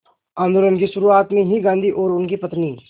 आंदोलन की शुरुआत में ही गांधी और उनकी पत्नी